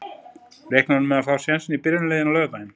Reiknar hún með að fá sénsinn í byrjunarliðinu á laugardaginn?